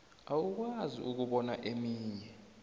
awukwazi ukubona eminye